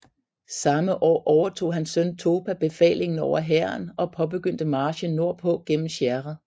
Samme år overtog hans søn Topa befalingen over hæren og påbegyndte marchen nord på gennem Sierra